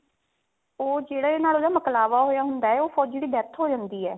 ਉਹ ਜਿਹੜਾ ਇਹਦੇ ਨਾਲ ਮੁਕਲਾਵਾ ਹੋਇਆ ਹੁੰਦਾ ਉਹ ਫੋਜੀ ਦੀ death ਹੋ ਜਾਂਦੀ ਹੈ